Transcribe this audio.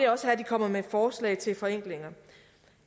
også her de kommer med forslag til forenklinger